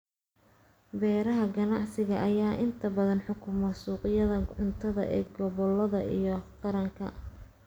Beeraha ganacsiga ayaa inta badan xukuma suuqyada cuntada ee gobolada iyo qaranka.